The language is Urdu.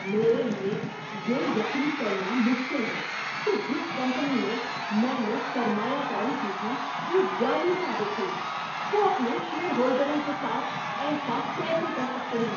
میرے لیے یہ یقین کرنا مشکل ہے کہ جس کمپنی میں میں نے سرمایہ کاری کی تھی وہ جعلی ثابت ہوئی۔ وہ اپنے شیئر ہولڈروں کے ساتھ ایسا کیسے کر سکتے ہیں؟